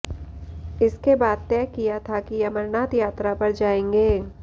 इसके बाद तय किया था कि अमरनाथ यात्रा पर जाएंगे